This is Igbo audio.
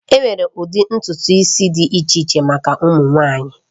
Enwere ụdị ntutu isi dị iche iche maka ụmụ nwanyị